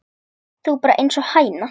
Þú ert bara einsog hæna.